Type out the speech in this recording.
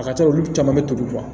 A ka ca olu caman bɛ toli